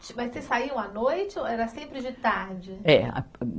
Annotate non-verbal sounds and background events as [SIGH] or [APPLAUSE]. [UNINTELLIGIBLE] Mas vocês saíam à noite ou era sempre de tarde? É a